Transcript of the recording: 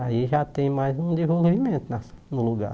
Aí já tem mais um desenvolvimento na no lugar.